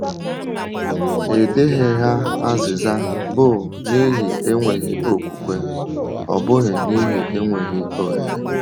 Ịdịghị ha azịza bụ n’ihi enweghị okwùkwè, ọ bụghị n’ihi enweghị ohere.